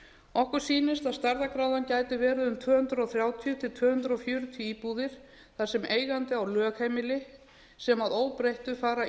okkur sýnist að stærðargráðan gæti verið um tvö hundruð þrjátíu til tvö hundruð fjörutíu íbúðir þar sem eigandi á lögheimili sem að óbreyttu fara